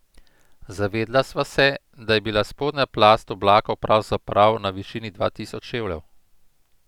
Zavedla sva se, da je bila spodnja plast oblakov pravzaprav na višini dva tisoč čevljev.